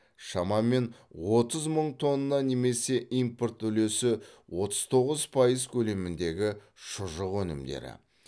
шамамен отыз мың тонна немесе импорт үлесі отыз тоғыз пайыз көлеміндегі шұжық өнімдері